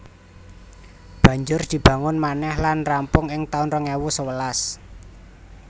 Banjur dibangun manèh lan rampung ing taun rong ewu sewelas